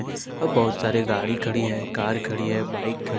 बहोत सारे गाड़ी खड़ी है कार खड़ी है बाइक खड़ी--